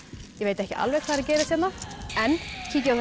ég veit ekki alveg hvað er að gerast hérna en kíkjum á